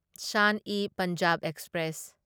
ꯁꯟ e Punjab express